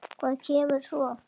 Hvað kemur svo?